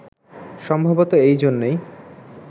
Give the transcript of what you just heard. সম্ভবতঃ এই জন্যই